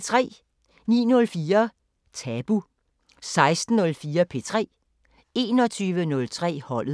09:04: Tabu 16:04: P3 21:03: Holdet